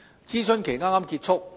諮詢期剛剛結束。